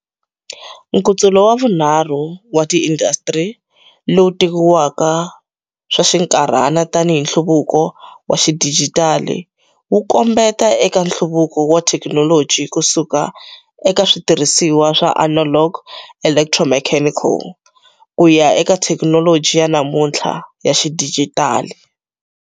Nkutsulo wa vunharhu wa tiindasitiri, lowu tekiwaka swa xinkarhana tanihi nhluvuko wa xidijitali, wu kombetela eka nhluvuko wa thekinoloji ku suka eka switirhisiwa swa analog electromechanical ku ya eka thekinoloji ya namuntlha ya xidijitali.